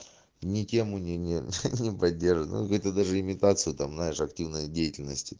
не тему не-не-не подержанных это даже имитацию там наш активная деятельности